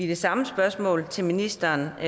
det samme spørgsmål til ministeren er at